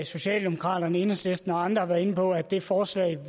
socialdemokraterne enhedslisten og andre har været inde på at det forslag